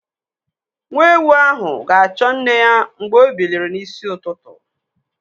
Nwa ewu ahụ ga-achọ nne ya mgbe o biliri n'isi ụtụtụ.